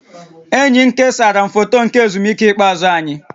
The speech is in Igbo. Enyi m kesara m foto nke ezumike ikpeazụ anyị